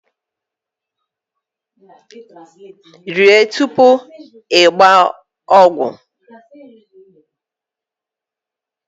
Rie tupu i were ogwu ogwu